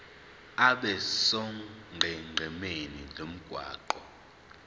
abe sonqenqemeni lomgwaqo